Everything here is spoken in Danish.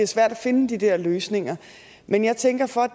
svært at finde de der løsninger men jeg tænker for at